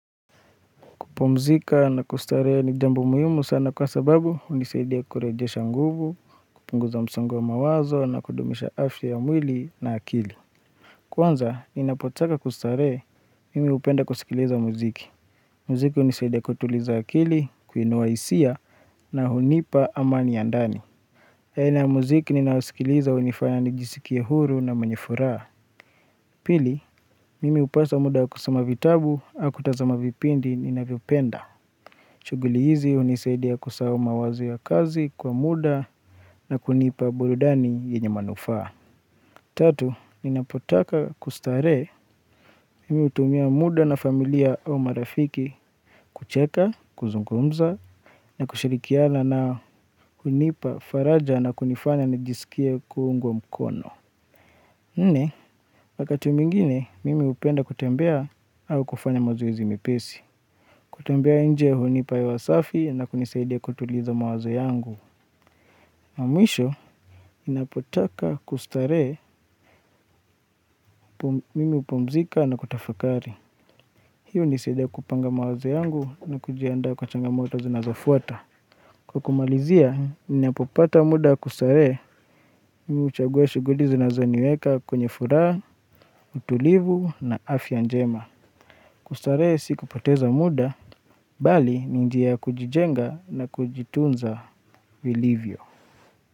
Kupu mzika na kustaree ni jambo muhimu sana kwa sababu unisaidia kureje shanguvu, kupunguza msongo wa mawazo na kudumisha afya ya mwili na akili. Kwanza, ninapotaka kustaree, mimi hupenda kusikiliza muziki. Mziki unisaidia kutuliza akili, kuinua isia na hunipa amani ya ndani. Haina ya mziki ninayosikiliza hunifanya nijisikie huru na mwenye furaa. Pili, mimi upasa muda wa kusoma vitabu, au kutazama vipindi ninavyopenda. Shuguli hizi unisaidia kusahau mawazo ya kazi kwa muda na kunipa burudani yenye manufaa. Tatu, ninapotaka kustare, mimi utumia muda na familia au marafiki kucheka, kuzungumza, na kushirikiana nao hunipa faraja na kunifanya nijisikie kuungwa mkono. Nne, wakati mwingine, mimi upenda kutembea au kufanya mazoezi mepesi. Kutembea inje hunipa hewa safi na kunisaidia kutuliza mawazo yangu. Mwisho, inapotaka kustare mimi upumzika na kutafakari. Hio nisedia kupanga mawazo yangu na kujiandaa kwa changa moto zinazofuata. Kwa kumalizia, inapopata muda kustare mimi uchagua shuguli zinazoniweka kwenye furaa, utulivu na afya njema. Kustaree siku poteza muda, bali ninjia ya kujijenga na kujitunza vilivyo.